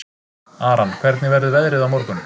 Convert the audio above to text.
Aran, hvernig verður veðrið á morgun?